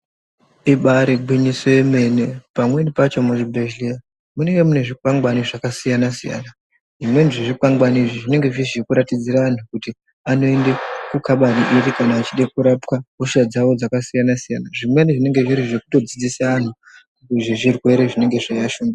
Ibari gwinyiso remene pamweni pacho muzvibhedhlera Munenge mune zvikwangwani zvakasiyana-siyana zvimweni zvezvikwangwaani izvi zvinenge zviri zvekuratidzira antu kuti anoenda kokaba iri kana achida kurapa hosha dzawo dzakasiyana-siyana zvimweni zvinenge zviri zvekudzudzisa antu zvezvirwere zvinemge zveyi vash.......